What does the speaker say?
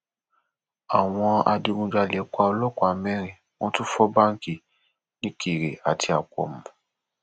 àwọn adigunjalè pa ọlọpàá mẹrin wọn tún fọ báǹkì nìkèrè àti àpọmù